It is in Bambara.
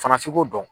Fana f'i k'o dɔn